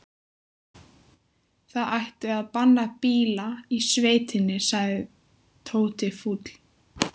Það ætti að banna bíla í sveitinni sagði Tóti fúll.